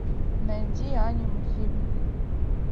найди аниме фильмы